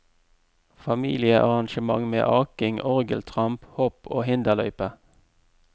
Familiearrangement med aking, orgeltramp, hopp og hinderløype.